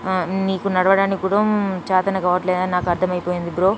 నీకు నడవడానికి కూడా చాతన కావట్లేదని నాకు అర్థం అయిపోయింది బ్రో.